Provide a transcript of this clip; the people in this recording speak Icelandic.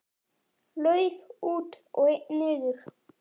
Lauf út og einn niður.